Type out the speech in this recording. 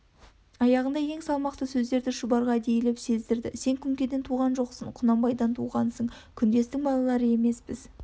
аяғында ең салмақты сөзін шұбарға әдейілеп сездірді сен күнкеден туған жоқсың құнанбайдан туғаңсың күндестің балалары емеспіз